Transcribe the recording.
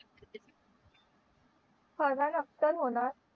फरहान अख्तर होणार